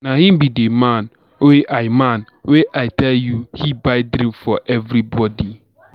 Na him be the man wey I man wey I tell you say he buy drink for everybody.